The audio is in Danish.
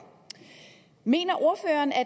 mener ordføreren at